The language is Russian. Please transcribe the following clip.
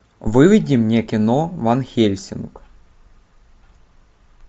выведи мне кино ван хельсинг